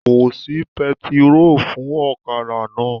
Kò sí pẹtiró fún ọ̀kadà náà.